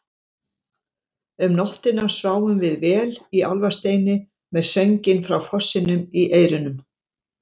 Um nóttina sváfum við vel í Álfasteini með sönginn frá fossinum í eyrunum.